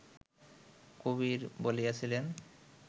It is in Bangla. কবির বলিয়াছিলেন